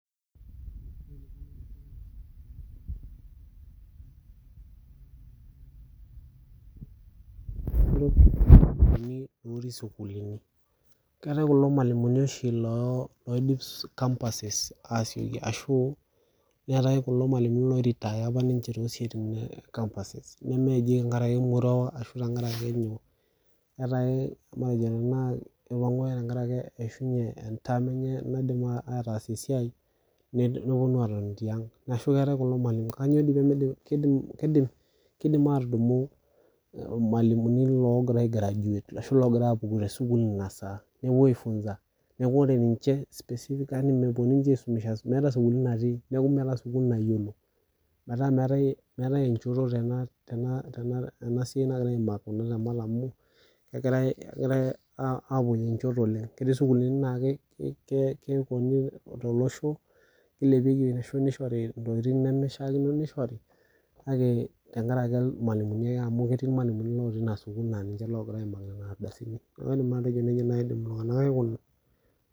Keetai kulo mwalimuni oshi looidip campuses aasioki ashu netai kulo mwalimuni loiretire apa ninche tosiaitin e campuses tenkaraki emoruao ashu tenkaraki Eeitai matejo tenaa tenkaraki eishunye entaam enye naidim aatasie esiai nidim nepuonu atoni tiang ashu eetai kulo mwalimuni Kanyoo peemi kidim atudumu irmwalimuni ogira aigraduate ashu loogira apuku te sukuul ina saa ashu aa aisho ore ninche specifically mepuo ninche aisumesha meeta isukuulini natii niaku meeta sukul nayiolo. Metaa meetai enchoto tena siai nagiarai aimaki amu kegirai apuoyie nchot oleng Ketii sukuulini naa keponi tolosho nilepieki ashu nishori ntokiting neishiakino nishori kake tengaraki irmwalimuni ake amu ketii irmwalimuni otii ina sukuul laa ninche logira aimaki nena aldasini Niaku idim nai aa ninche